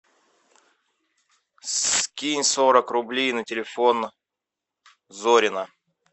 скинь сорок рублей на телефон зорина